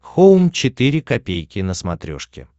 хоум четыре ка на смотрешке